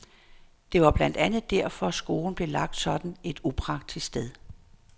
Det var blandt andet derfor, skolen blev lagt sådan et upraktisk sted.